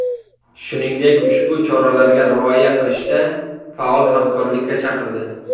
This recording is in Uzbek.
Shuningdek, ushbu choralarga rioya qilishda faol hamkorlikka chaqirdi.